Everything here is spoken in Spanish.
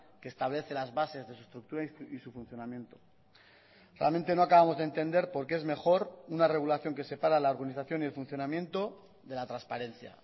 que establece las bases de su estructura y su funcionamiento realmente no acabamos de entender por qué es mejor una regulación que separa la organización y el funcionamiento de la transparencia